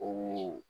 O ye